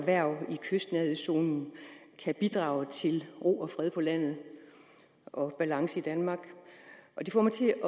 erhverv i kystnærhedszonen kan bidrage til ro og fred på landet og balance i danmark det får mig til